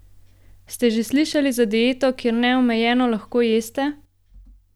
Ste že slišali za dieto, kjer neomejeno lahko jeste?